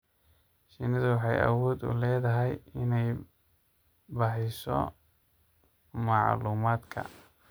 Shinnidu waxay awood u leedahay inay baahiso macluumaadka.